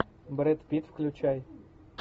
брэд питт включай